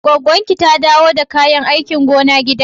Gwaggon ki ta dawo da kayan aikin gona gida?